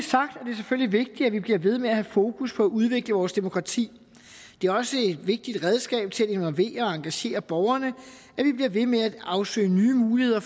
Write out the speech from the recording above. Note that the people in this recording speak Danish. selvfølgelig vigtigt at vi bliver ved med at have fokus på at udvikle vores demokrati det er også et vigtigt redskab til at involvere og engagere borgerne at vi bliver ved med at afsøge nye muligheder